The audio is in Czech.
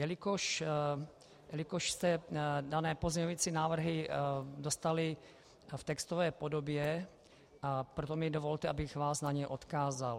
Jelikož jste dané pozměňovací návrhy dostali v textové podobě, proto mi dovolte, abych vás na ně odkázal.